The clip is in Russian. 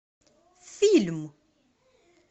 фильм